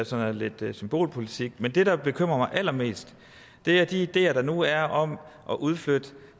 sådan lidt symbolpolitik men det der bekymrer mig allermest er de ideer der nu er om at udflytte